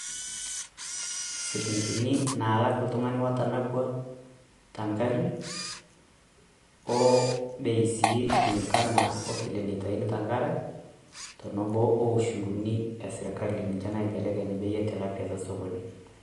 silingini naalak oltung'ani nitanapua tengari oo bei si kulinkana o vile naitaini tenkare oushuruni esirkali ninche naibelekeny bei e tilapia tosokoni.